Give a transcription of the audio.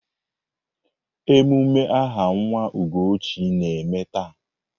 Emume aha nwa Ugochi na-eme taa.